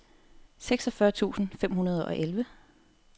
seksogfyrre tusind fem hundrede og elleve